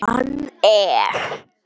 Hann er